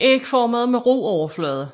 De er ægformede med ru overflade